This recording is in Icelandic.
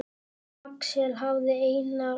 Axel hafði Einar og